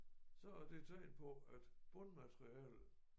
Så er det tegn på at bundmaterialet